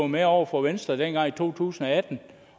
med over for venstre dengang i to tusind og atten